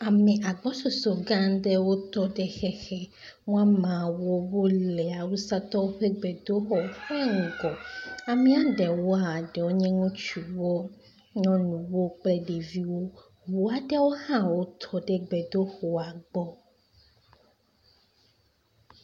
Ame agbɔsɔsɔ gã aɖewo tɔ ɖe xexe, woameawo wole awusatɔwo ƒe gbedoxɔ ƒe ŋgɔ. Amea ɖewoa ɖewo nye ŋutsu ɖewo nye nyɔnu kple ɖeviwo. Ŋu aɖewo hã wotɔ ɖe gbedoxɔ aɖe gbɔ.